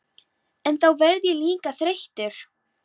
En þá verð ég líka þreyttur.